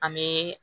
An bɛ